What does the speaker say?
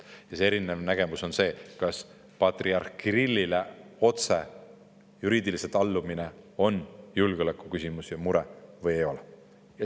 Ja see erinev nägemus on see, kas patriarh Kirillile juriidiliselt otse allumine on julgeolekuküsimus ja -mure või ei ole.